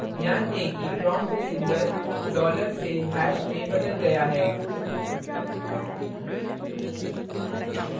ध्यान दें कि prompt symbol dollar से hash में बदल गया है